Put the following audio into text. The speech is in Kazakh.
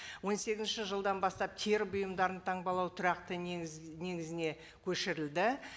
он сегізінші жылдан бастап тері бұйымдарын таңбалау тұрақты негіз негізіне көшірілді